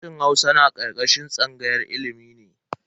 Sashen Hausa na karkashin tsangayar ilimi ne.